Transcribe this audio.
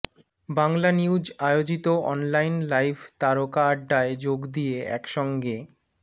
বাংলানিউজ আয়োজিত online live তারকা আড্ডায় যোগ দিয়ে একসঙ্গে